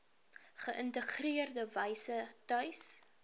geïntegreerde wyse tuis